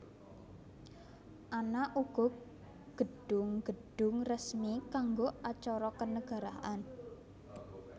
Ana uga gedhung gedhung resmi kanggo acara kenegaraan